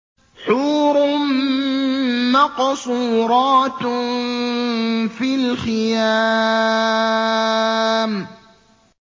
حُورٌ مَّقْصُورَاتٌ فِي الْخِيَامِ